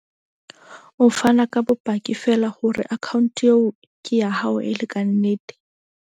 O fana ka bopaki feela hore account eo ke ya hao e le kannete.